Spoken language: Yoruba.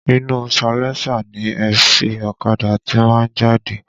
Inú salẹńsà ni èéfín ọ̀kadà ti máa ń jáde